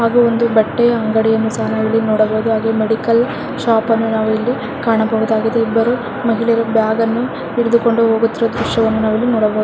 ಹಾಗೂ ಒಂದು ಬಟ್ಟೆ ಅಂಗಡಿಯನ್ನು ಸಹ ನಾವಿಲ್ಲಿ ನೋಡಬಹುದು ಹಾಗೆ ಮೆಡಿಕಲ್ ಶಾಪನ್ನು ನಾವಿಲ್ಲಿ ಕಾಣಬಹುದಾಗಿದೆ ಇಬ್ಬರು ಮಹಿಳೆಯರು ಬ್ಯಾಗನ್ನು ಹಿಡಿದುಕೊಂಡು ಹೋಗುತ್ತಿರುವ ದೃಶ್ಯವನ್ನು ನಾವಿಲ್ಲಿ ನೋಡಬಹುದು.